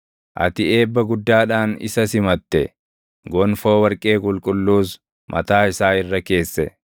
Ati eebba guddaadhaan isa simatte; gonfoo warqee qulqulluus mataa isaa irra keesse.